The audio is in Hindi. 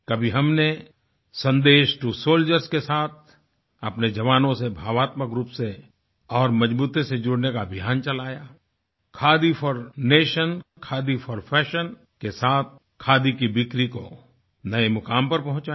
कभी हमने सन्देशटूसोल्जर्स के साथ अपने जवानों से भावात्मक रूप से और मजबूती से जुड़ने का अभियान चलायाखादी फोर नेशन खादी फोर Fashionके साथ खादी की बिक्री को नए मुकाम पर पहुंचाया